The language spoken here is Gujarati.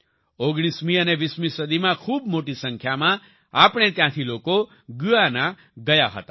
19મી અને 20મી સદીમાં ખૂબ મોટી સંખ્યામાં આપણે ત્યાંથી લોકો ગુયાના ગયા હતા